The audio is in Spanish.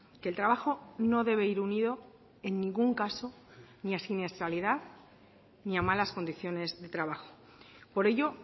que el trabajo no debe ir unido en ningún caso ni a siniestralidad ni a malas condiciones de trabajo por ello